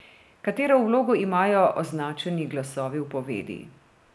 Katero vlogo imajo označeni glasovi v povedi?